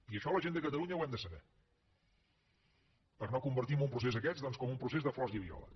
i això la gent de catalunya ho hem de saber per no convertir un procés d’aquests doncs com un procés de flors i violes